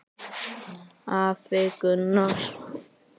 Afi Gunnar.